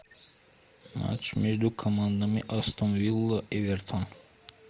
матч между командами астон вилла эвертон